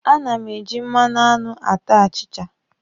A na m e ji mmanụ aṅụ ata achịcha.